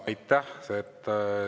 Aitäh!